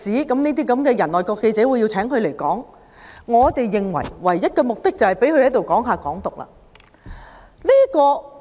我們認為，外國記者會邀請這種人演講的唯一目的，就是讓他談論"港獨"。